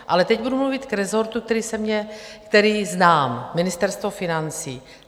Ale teď budu mluvit k rezortu, který znám - Ministerstvo financí.